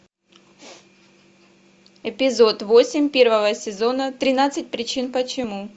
эпизод восемь первого сезона тринадцать причин почему